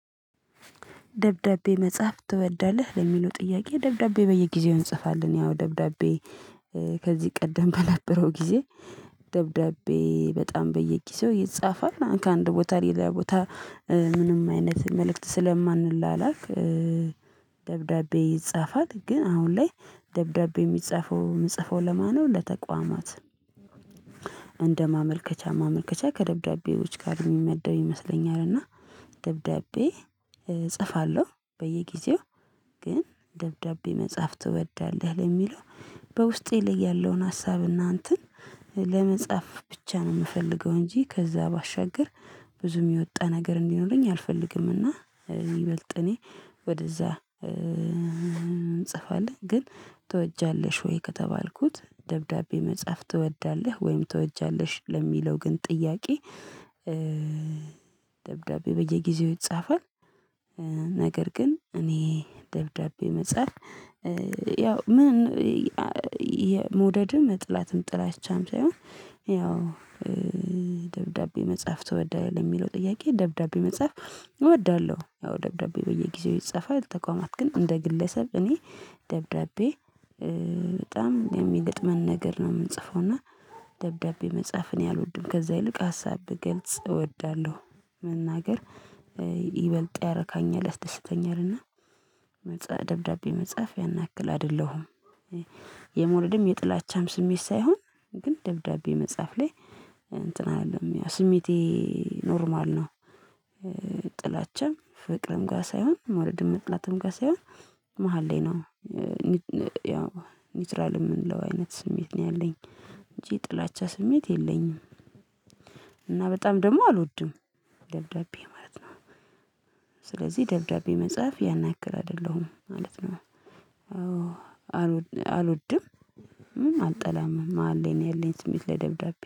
ደብዳቤ መጻፍ ትወዳለህ? ለሚለው ጥያቄ ደብዳቤ በየጊዜው እንጽፋለን ያው ደብዳቤ ከዚህ ቀደም በነበረው ጊዜ ደብዳቤ በጣም በየጊዜው ይጻፋል። ከአንድ ቦታ ሌላ ቦታ ምንም አይነት መልእክት ስለማንላላክ ደብዳቤ ይጻፋል። ግን አሁን ላይ ደብዳቤ የምጽፈው ለማነው ለተቋማት እንደ ማመልከቻ ማመልከቻ ከደብዳቤዎች ጋር የሚመደብ ይመስለኛል እና ደብዳቤ እጽፋለሁ። በየጊዜው ግን ደብዳቤ መጻፍ ትወዳለህ ለሚለው በውስጤ ላይ ያለውን ሀሳብና እንትን ለመጻፍ ብቻ ነው የምፈልገው እንጂ ከዛ ባሻገር ብዙም የወጣ ነገር እንዲኖረኝ አልፈልግምና ይበልጥ እኔ ወደዛ እንጽፋለን ግን ትወጃለሽ ወይ ከተባልኩት ደብዳቤ መጻፍ ትወዳለህ ወይም ትወጃለሽ? ለሚለው ግን ጥያቄ ደብዳቤ በየጊዜው ይጻፋል። ነገር ግን እኔ ደብዳቤ መጻፍ ያው ምን መውደድም መጥላትም ጥላቻም ሳይሆን ያው ደብዳቤ መጻፍ ተወዳለህ? ለሚለው ጥያቄ ደብዳቤ መጻፍ እወዳለሁ ያው ደብዳቤ በየጊዜው ይጻፋል። ለተቋማት ግን እንደ ግለሰብ እኔ ደብዳቤ በጣም የሚገጥመን ነገር ነው የምጽፈው እና ደብዳቤ መጻፍ እኔ አልወድም። ከዛ ይልቅ ሀሳብ ብገልጽ እወዳለሁ መናገር ይበልጥ ያረካኛ፣ ደስተኛል እና ደብዳቤ መጽሐፍ ያና ያክል አይደለሁም። የመውደድም የጥላቻም ስሜት ሳይሆን ግን ደብዳቤ መጻፍ ላይ እንትን አልልም ያው ስሜቴ ኖርማል ነው። ጥላችን ፍቅርም ጋር ሳይሆን መውደድም ጥላትም ጋር ሳይሆን መሃል ላይ ነው። ያው ኒውትራል የምንለው አይነት ስሜት ነው ያለኝ እንጂ ጥላቻ ስሜት የለኝም። እና በጣም ደግሞ አልወድም። ደብዳቤ ማለት ነው። ስለዚህ ደብዳቤ መጻፍ ያን ያክል አይደለሁም ማለት ነው አዎ አልወድምም አልጠላምም መሃል ላይ ነው ያለኝ ስሜት ለደብዳቤ።